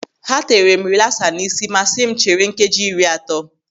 Ha tere m rilasa n'isi ma si m chere nkeji iri atọ.